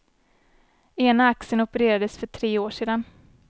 Ena axeln opererades för tre år sedan.